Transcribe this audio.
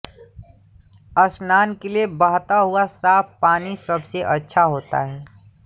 स्नान के लिये बहता हुआ साफ पानी सबसे अच्छा होता है